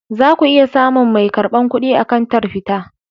Za ku iya samun mai karbar kuɗi a kantar fita.